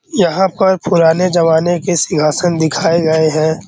यहाँ पर पुराने जमाने के सिहासन दिखाए गए हैं।